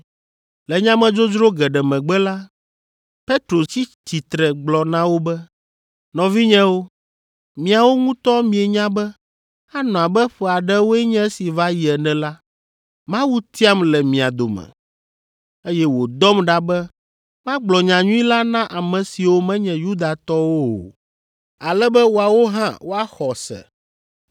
Le nyamedzodzro geɖe megbe la, Petro tsi tsitre gblɔ na wo be, “Nɔvinyewo, miawo ŋutɔ mienya be anɔ abe ƒe aɖewoe nye esi va yi ene la, Mawu tiam le mia dome, eye wòdɔm ɖa be magblɔ nyanyui la na ame siwo menye Yudatɔwo o, ale be woawo hã woaxɔ se.